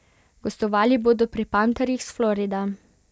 Gostovali bodo pri Panterjih s Floride.